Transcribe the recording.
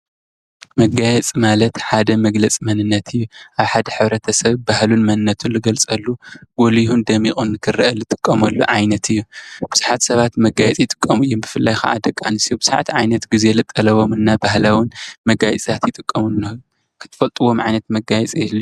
መጋየፂ ማለት ሓደ መግለፂ መንነት እዩ። ኣብ ሓደ ሕብረተሰብ ባህሉን መንነቱን ዘገልፀሉ ጎልሁን ደሚቁ ንክርኣየሉ ዝጥቀመሉ ዓይነት እዩ። ብዙሓት ሰባት መጋየፂ ይጥቀሙ እዮም ብፍላይ ደቂ ኣንስትዮ ብዙሓት ዓይነት ግዜ ዝጠለቦም ናይ ባህላዊን መጋየፂታት ይጥቀሙ ኣለው። ትፈልጥዎም ዓይነት መጋየፂ ይህሉ ዶ?